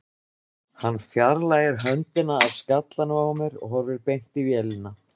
Hann fjarlægir höndina af skallanum á mér og horfir beint í vélina.